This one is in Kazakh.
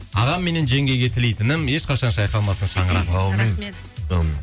ағамменнен жеңгейге тілейтінім ешқашан шайқалмасын шаңырағың әумин